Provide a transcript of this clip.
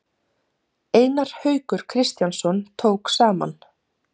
Einar Haukur Kristjánsson tók saman.